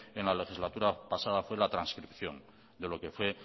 en la legislatura pasada fue la trascripción de lo que fue